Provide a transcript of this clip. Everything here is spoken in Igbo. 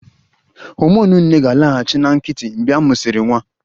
Homonụ nne ga-alaghachi na nkịtị mgbe a mụsịrị nwa